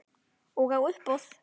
Og á uppboð.